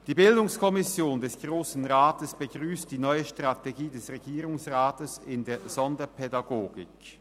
Die Bildungskommission des Grossen Rats begrüsst die neue Strategie des Regierungsrats in der Sonderpädagogik.